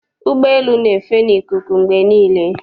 Ụgbọelu na-efe n'ikuku mgbe niile.